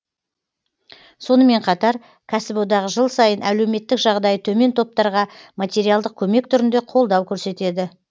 сонымен қатар кәсіподақ жыл сайын әлеуметтік жағдайы төмен топтарға материалдық көмек түрінде қолдау көрсетеді